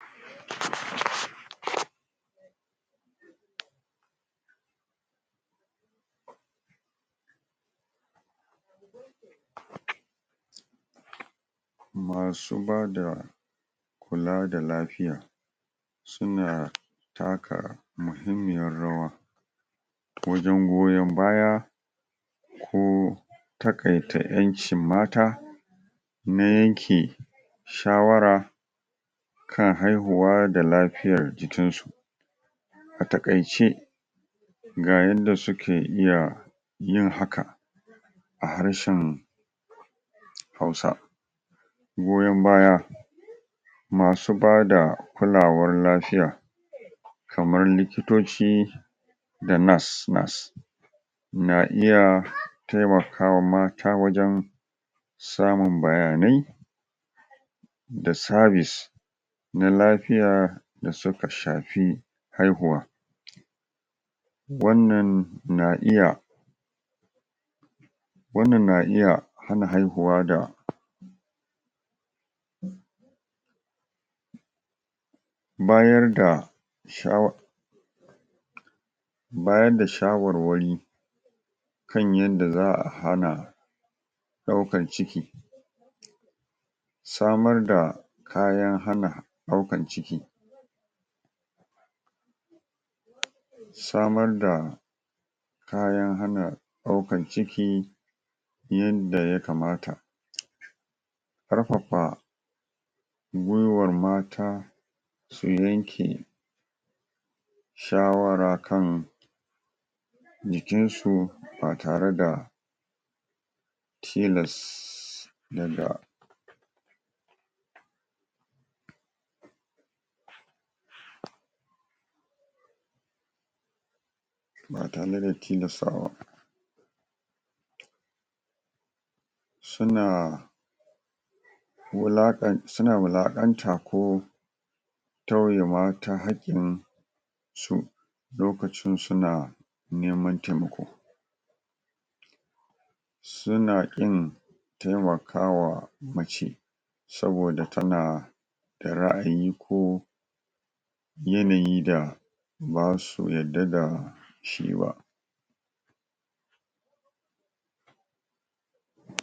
ummm pause masu bada kula da lafiya suna taka muhimmiyar rawa wajen goyon baya ko takaitanƴancin mata na yanke shawara kan haihuwa da lafiyan jikinsu a takaice ga yanda suke iya yin hakan a harshen hausa goyon baya masu bada kulawar lafiya kamar likitoci da nurse-nurse na iya temakawa mata wajen samun bayanai da service na lafiya da suka shafi haihuwa wannan na iya wannan na iya hana haihuwa da pause bayar da shawar.. bayar da shawarwari kan yanda za'a hana ɗaukan ciki samar da kayan hana daukar ciki samar da kayan hana ɗaukar ciki yadda ya kamata um karfafa gwiwar mata su yanke shawara kan jikinsu ba tare da tilass daga pause ba tare da tilastawa ba suna wulakan suna wulakanta ko tauye mata hakkin su lokacin suna neman temako suna kin temaka wa mace saboda tana da ra'ayi ko yanayi da basu yadda da shi ba pause